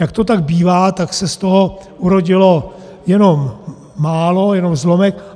Jak to tak bývá, tak se z toho urodilo jenom málo, jenom zlomek.